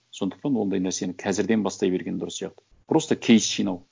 сондықтан ондай нәрсені қазірден бастай берген дұрыс сияқты просто кейс жинау